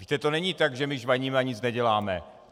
Víte, to není tak, že my žvaníme a nic neděláme.